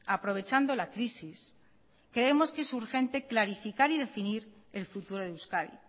aprovechando la crisis creemos que es urgente clarificar y definir el futuro de euskadi